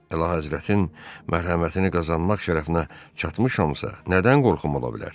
Əlahəzrətinin mərhəmətini qazanmaq şərəfinə çatmışamsa, nədən qorxum ola bilər?